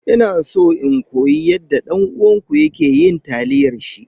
Ina so in koyi yadda dan uwanku yake yin taliyar shi.